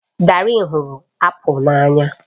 Darien hụrụ apụl n'anya